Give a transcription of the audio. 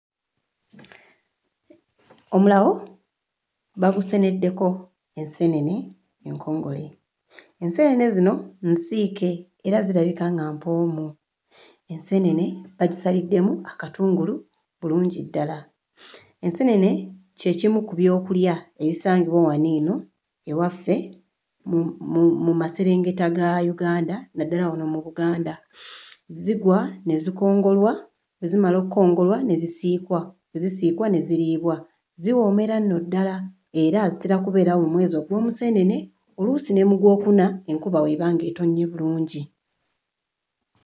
Omulawo baguseneddeko enseenene enkongole. Enseenene zino nsiike era zirabika nga mpoomu, enseenene bazisaliddemu akatungulu bulungi ddala, enseenene kye kimu ku byokulya ebisangibwa wano eno ewaffe mu... mu... mu maserengeta ga Uganda, naddala wano mu Buganda. Zigwa ne zikongolwa, bwe zimala okkongolwa ne zisiikwa, bwe zisiikwa ne ziriibwa. Ziwoomera nno ddala era zitera kubeerawo mu mwezi ogw'Omuseenene, oluusi ne mu Gwokuna, enkuba bw'eba ng'etonnye bulungi.